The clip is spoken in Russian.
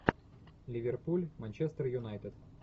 ливерпуль манчестер юнайтед